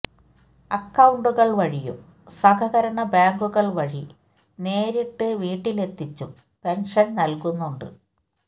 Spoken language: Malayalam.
അക്കൌണ്ടുകള് വഴിയും സഹകരണ ബേങ്കുകള് വഴി നേരിട്ട് വീട്ടിലെത്തിച്ചും പെന്ഷന് നല്കുന്നുണ്ട്